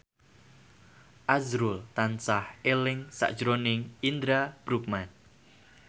azrul tansah eling sakjroning Indra Bruggman